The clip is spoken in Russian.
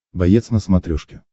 боец на смотрешке